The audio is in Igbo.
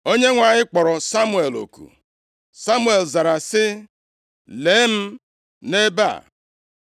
Onyenwe anyị kpọrọ Samuel oku, Samuel zara sị, “Lee m nʼebe a.”